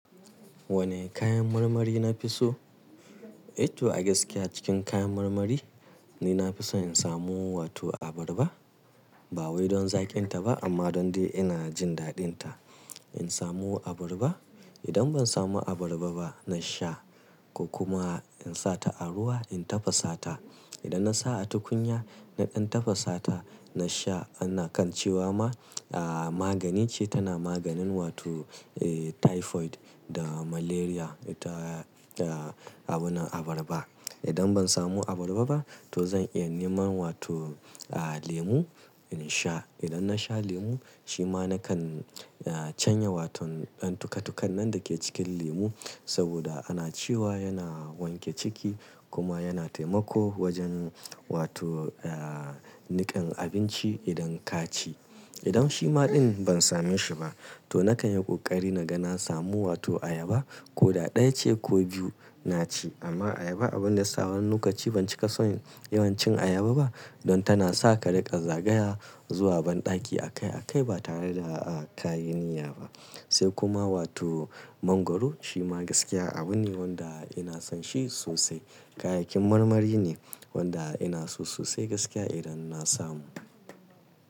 Wane kayan marmari na fi so? Eh to a gaskiya cikin kayan marmari ni nafi so in samu wato abarba. Ba wai don zaƙin ta ba amma don dai ina jin daɗin ta. In samu abarba, idan ban samu abarba ba, na sha ko kuma in sa ta a ruwa in tafasa ta. Idan na sa a tukunya, nadan tafasa ta na sha ana kan cewa ma aa magani ce tana maganin wato eh typhoid da malaria. Ita eh abun abarba. Idan ban samu abarba ba to zan iya neman wato aa lemu in sha. Idan na sha lemu shi ma na kan aa canya wato ɗan tukatukan nan dake cikin lemu saboda ana cewa yana wanke ciki kuma yana taimako wajen wato aa nikan abinci idan ka ci. Idan shi ma ɗin ban same shi ba to na kan yi ƙoƙari naga na samu wato ayaba. Ko ɗaya ce ko biyu na ci amma ayaba abun da yasa wani lokaci ban cika son yawan cin ayaba ba don tana sa ka riƙa zagaya zuwa banɗaki a kai a kai ba tare da aa ka yi niyya ba. Sai kuma wato mangwaro shi ma gaskiya abu ne wanda ina son shi sosai. Kayayyakin marmari ne wanda ina so sosai gaskiya idan na samu.